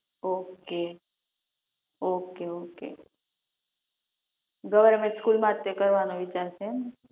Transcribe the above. Okay okay okay government સ્કૂલમાંજ ભણવાનો વિચાર છે એમ ને?